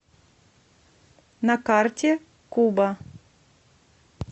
на карте куба